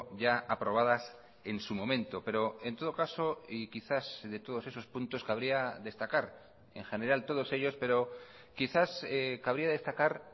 ya aprobadas en su momento pero en todo caso y quizás de todos esos puntos cabría destacar en general todos ellos pero quizás cabría destacar